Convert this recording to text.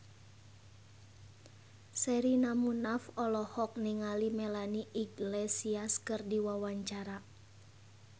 Sherina Munaf olohok ningali Melanie Iglesias keur diwawancara